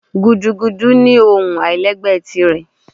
Gúdúgúdú nì ohún ailẹ́gbẹ tirẹ